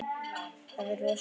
Þetta verður rosa gaman.